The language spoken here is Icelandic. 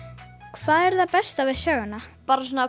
hvað er það besta við söguna bara svona